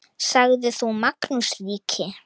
Sagði þá Magnús ríki